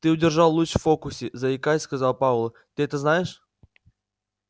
ты удержал луч в фокусе заикаясь сказал пауэлл ты это знаешь